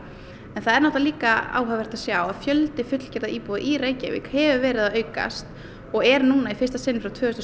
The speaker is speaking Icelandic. en það er líka áhugavert að sjá að fjöldi fullgerðra íbúða í Reykjavík hefur verið að aukast og er núna í fyrsta sinn frá tvö þúsund og